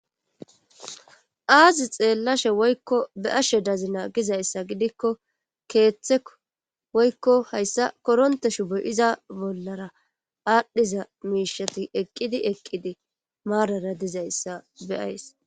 Aazi xeellashe woykko be ashe dazina gizayssa gidikko keeththeo woykko hayssa koronteshu boy iza bollara aadhdhiza miishati eqqidi eqqidi maarara dizayssa beyays